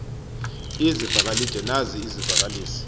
izivakalid nazi izivakalisi